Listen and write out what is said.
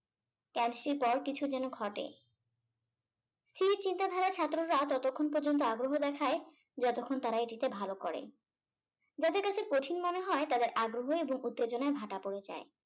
পর কিছু যেনো ঘটে। স্থির চিন্তা ধারার ছাত্র রা ততক্ষণ পর্যন্ত আগ্রহ দেখায় যতক্ষণ তারা এটিতে ভালো করে। যাদের কাছে কঠিন মনে হয় তাদের আগ্রহ এবং উত্তেজনায় ভাটা পড়ে যায়।